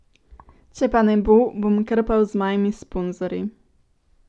Če pa ne bo, bom krpal z mojimi sponzorji.